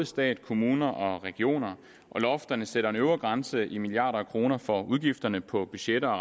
stat kommuner og regioner og lofterne sætter en øvre grænse i milliarder af kroner for udgifterne på budgetter og